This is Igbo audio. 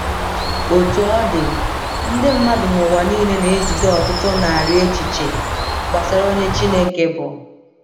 Otú ọ dị, ndị mmadụ n’ụwa niile na-ejide ọtụtụ narị echiche gbasara onye Chineke bụ.